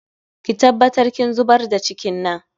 Ki tabbatar kin zubar da cikin nan